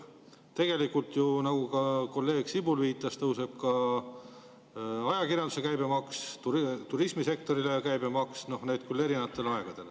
" Tegelikult ju, nagu kolleeg Sibul viitas, tõuseb ka ajakirjanduse käibemaks, turismisektori käibemaks, noh, need küll erinevatel aegadel.